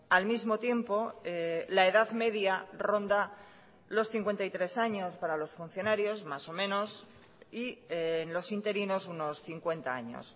al mismo tiempo la edad media ronda los cincuenta y tres años para los funcionarios más o menos y los interinos unos cincuenta años